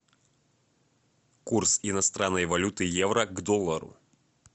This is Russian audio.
курс иностранной валюты евро к доллару